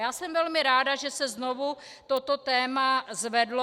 Já jsem velmi ráda, že se znovu toto téma zvedlo.